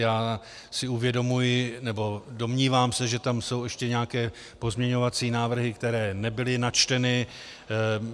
Já si uvědomuji, nebo domnívám se, že tam jsou ještě nějaké pozměňovací návrhy, které nebyly načteny.